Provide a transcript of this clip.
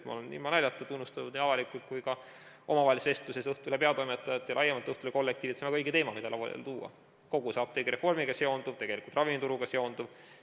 Ma olen ilma naljata tunnustanud nii avalikult kui ka omavahelises vestluses Õhtulehe peatoimetajat ja laiemalt Õhtulehe kollektiivi, et see on väga õige teema, mida lauale tuua, kogu see apteegireformiga seonduv, tegelikult ravimituruga seonduv.